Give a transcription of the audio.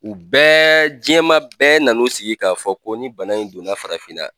U bɛɛ jiɲɛma bɛɛ na n'u sigi k'a fɔ ko ni bana in donna farafinna